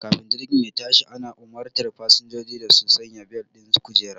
Kafin jirgi ya tashi ana umartar fasinjoji da su sanya bel ɗin kujera